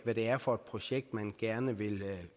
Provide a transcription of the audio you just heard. hvad det er for et projekt man gerne vil